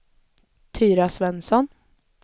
Tyra Svensson